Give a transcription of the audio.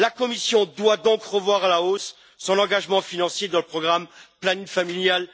La Commission doit donc revoir à la hausse son engagement financier dans le programme planning familial